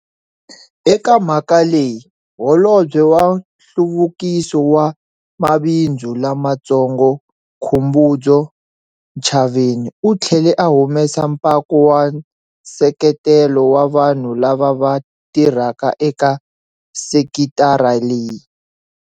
Eka mhaka leyi, Holobye wa Nhluvukiso wa Mabindzu Lamatsongo Khumbudzo Ntshavheni u tlhele a humesa mpako wa nseketelo wa vanhu lava va tirhaka eka sekitara leyi.